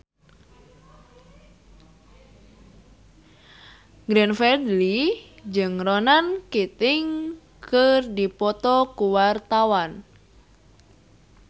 Glenn Fredly jeung Ronan Keating keur dipoto ku wartawan